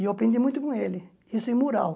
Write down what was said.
E eu aprendi muito com ele, isso em mural.